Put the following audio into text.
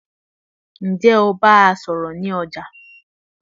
ǹjẹ́ o bá a sọ̀rọ̀ ní ọjà?